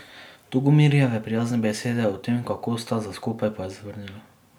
Tugomirjeve prijazne besede o tem, kako sta za skupaj, pa je zavrnila.